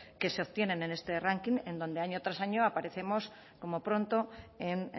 que se obtienen en este ranking en donde año tras año aparecemos como pronto en